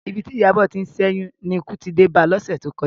Ibi tí Ìyábọ̀ ti ń ṣẹ́yún ni ikú ti dé ba lọ́sẹ̀ tó kọjá